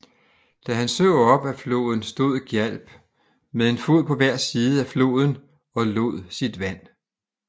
Da han så op ad floden stod Gjálp med en fod på hver side af floden og lod sit vand